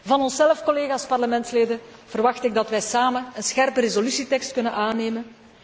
Van onszelf, collega's Parlementsleden, verwacht ik dat wij samen een scherpe resolutietekst kunnen aannemen.